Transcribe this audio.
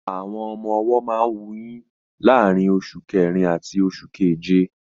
Àwọn ọmọ-ọwọ́ máa ń wuyín láàrín oṣù kẹrin àti oṣù keje